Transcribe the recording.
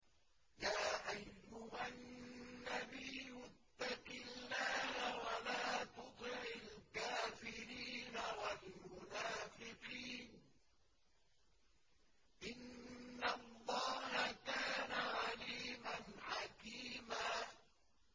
يَا أَيُّهَا النَّبِيُّ اتَّقِ اللَّهَ وَلَا تُطِعِ الْكَافِرِينَ وَالْمُنَافِقِينَ ۗ إِنَّ اللَّهَ كَانَ عَلِيمًا حَكِيمًا